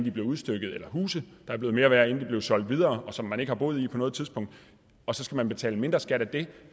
er blevet udstykket eller huse der er blevet mere værd inden solgt videre og som man ikke har boet i på noget tidspunkt og så skal man betale mindre skat af det